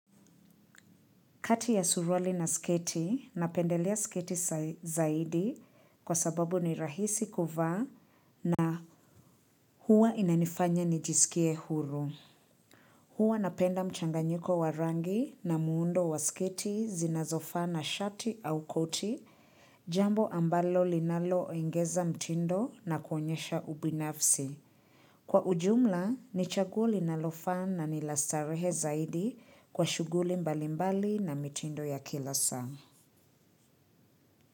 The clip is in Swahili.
Kati ya suruali na sketi, napendelea sketi zaidi kwa sababu ni rahisi kuvaa na huwa inanifanya nijisikie huru. Huwa napenda mchanganyiko wa rangi na muundo wa sketi zinazofaa na shati au koti jambo ambalo linaloongeza mtindo na kuonyesha ubinafsi. Kwa ujumla, ni chaguo linalofaa na ni la starehe zaidi kwa shughuli mbalimbali na mitindo ya kila saa.